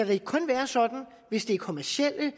det kun er hvis det er kommercielle